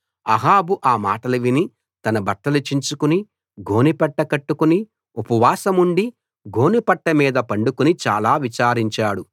అహాబు ఆ మాటలు విని తన బట్టలు చించుకుని గోనెపట్ట కట్టుకుని ఉపవాసముండి గోనెపట్ట మీద పడుకుని చాలా విచారించాడు